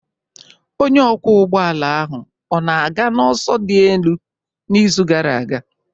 Onye ọkwọ ụgbọala ahụ ọ na-aga n'ọsọ dị elu n'izu gara aga?